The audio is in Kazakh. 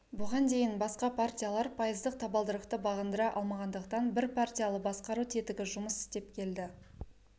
бұған дейін басқа партиялар пайыздық табалдырықты бағындыра алмағандықтан бірпартиялы басқару тетігі жұмыс істеп келді